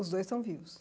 Os dois estão vivos?